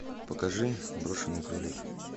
покажи брошенный кролик